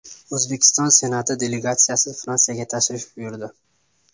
O‘zbekiston Senati delegatsiyasi Fransiyaga tashrif buyurdi.